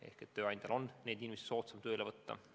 Nii on tööandjal soodsam neid inimesi tööle võtta.